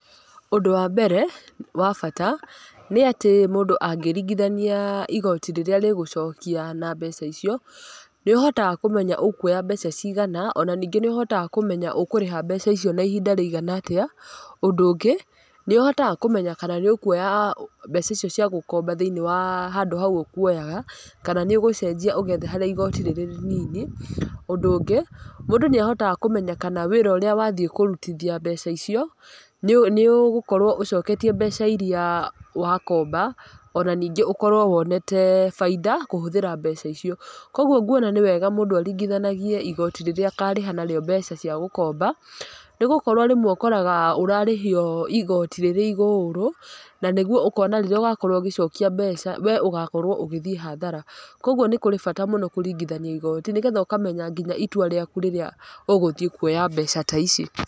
Ũndũ wa mbere wa bata nĩ atĩ mũndũ angĩringithania igoti rĩrĩa rĩgũcokia na mbeca icio nĩũhotaga kũmenya ũkũoya mbeca cigana ona ningĩ nĩ ũhotaga kũmenya ũkũrĩha mbeca icio na ihinda rĩigana atĩa, ũndũ ũngĩ nĩũhotaga kũmenya kana nĩ ũkuoya mbeca icio cia gũkomba thĩĩnĩe wa handũ hau ũkũoyaga kana nĩ ũgũcenjia ũgethe harĩa igoti rĩrĩ rĩnini, ũndũ ũngĩ mũndũ nĩ ahotaga kũmenya kana wĩra ũrĩa wathĩe kũrutithia mbeca icio nĩũgũkorwo ũcoketie mbeca iria wakomba ona ningĩ ũkorwo wonete baida kũhũthĩra mbeca icio ũguo ngũona nĩ wega mũndũ aringithanagie igoti rĩrĩa akarĩha narĩo mbea cia gũkomba nĩgũkorwo rĩmwe ũkoraga nĩwarĩhio igoti rĩrĩ igũrũ na nĩgũo ũkona rĩrĩa ũgakorwo ũgĩcokia mbeca we ũgakorwo ũgĩthĩe hathara kwa ũguo nĩ kũrĩ bata mũno kũringithania igoti nĩgetha ũkamenya nginya itwa rĩaku rĩrĩa ũgũthĩe kũoya mbeca ta ici.